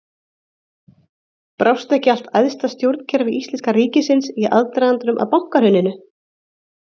Brást ekki allt æðsta stjórnkerfi íslenska ríkisins í aðdragandanum að bankahruninu?